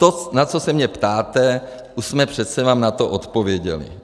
To, na co se mě ptáte, už jsme přece vám na to odpověděli.